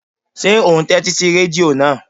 Ṣé ò ún tẹ́tí sí rẹ́díò náà?